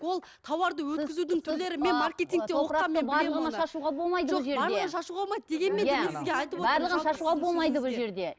ол тауарды өткізудің түрлері